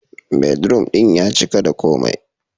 Bedroom ɗin ya cika da komai.